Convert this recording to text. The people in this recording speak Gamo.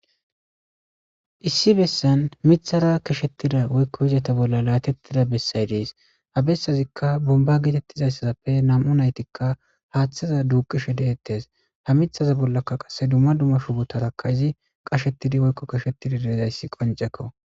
Issi besan mithara keshatida woyko izeta bolla latetida besay des ha besazikk bonba getetizaysppe nam'u naytikka hatheza duqishe detese ha mithaza bollakka qase dumma dumma shubotarakka Izi qashetidi woyko keshatidi de'izaysa qoncekko